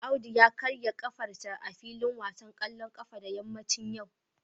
Audu ya karya kafarsa a filin wasan kwallon kafa da yammacin yau